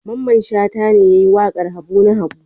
Mamman Shata ne ya yi waƙar Habu na Habu.